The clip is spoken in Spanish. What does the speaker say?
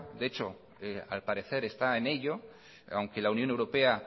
de hecho al parecer está en ello aunque la unión europea